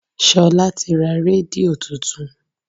Ṣolá ti ra rédíò tuntun.